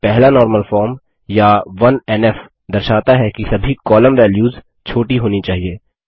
पहला normal form या 1एनएफ दर्शाता है कि सभी कॉलम वेल्यूस छोटी होनी चाहिए